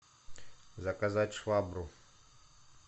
заказать швабру